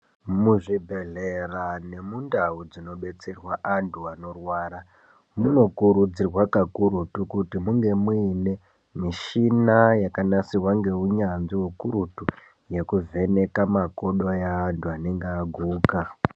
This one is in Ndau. Muzvibhehlera nemundau dzinobetserwa antu anorwara munokurudzirwa kakurutu kuti munge muine michina yakanasirwa ngeunyanzvi hukurutu yekuvheneka makodo eantu anenge aguka.